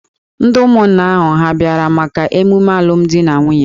Ndị ụmụnna ahụ hà abịara maka ememe alụmdi na nwunye?